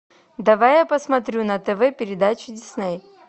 давай я посмотрю на тв передачу дисней